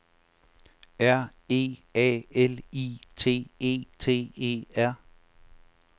R E A L I T E T E R